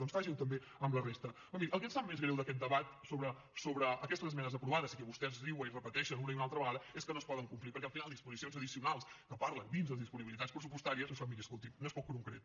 doncs faci ho també amb la resta però miri el que ens sap més greu d’aquest debat sobre aquestes esmenes aprovades i que vostès riuen i repeteixen una i altra vegada és que no es poden complir perquè al final disposicions addicionals que parlen dins les disponibilitats pressupostàries això miri escolti’m no és prou concret